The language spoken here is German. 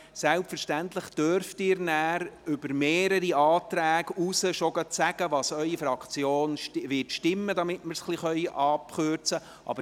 Selbstverständlich dürfen Sie sich auch bereits zu mehreren Anträgen äussern und sagen, wie Ihre Fraktion abstimmen wird, damit wir das etwas abkürzen können.